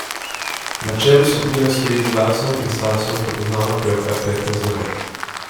Na čelu skupine stoji z glasom in stasom prepoznavna pevka Petra Zore.